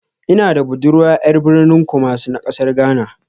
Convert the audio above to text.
Ina da budurwa ƴar birnin kumasi na ƙasar ghana.